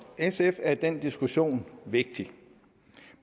sf er den diskussion vigtig